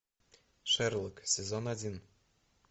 шерлок сезон один